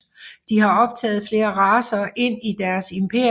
De har optaget flere racer ind i deres imperium